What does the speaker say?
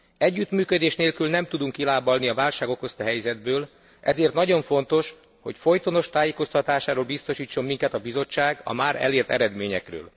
Együttműködés nélkül nem tudunk kilábalni a válság okozta helyzetből, ezért nagyon fontos, hogy folytonos tájékoztatásáról biztosítson minket a Bizottság a már elért eredményekről.